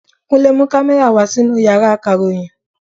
Kúnle mú kámẹ́rà wa sínú Ìyàrá akàròyìn.